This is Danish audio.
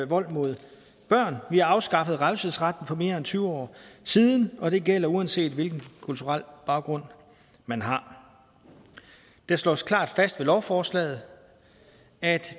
vold mod børn vi har afskaffet revselsesretten for mere end tyve år siden og det gælder uanset hvilken kulturel baggrund man har det slås klart fast med lovforslaget at